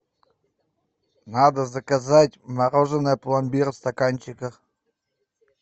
надо заказать мороженое пломбир в стаканчиках